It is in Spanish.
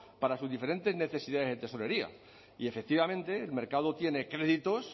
para sus diferentes necesidades en tesorería y efectivamente el mercado tiene créditos